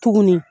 Tuguni